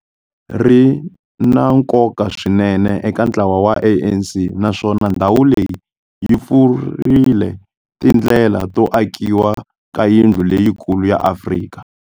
Ri na nkoka swinene eka ntlawa wa ANC, naswona ndhawu leyi yi pfurile tindlela to akiwa ka yindlu leyikulu ya Afrika.